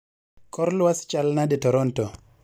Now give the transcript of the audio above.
kor lwasi chal nade toronto